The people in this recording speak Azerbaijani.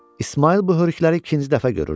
İsmayıl bu hörükləri ikinci dəfə görürdü.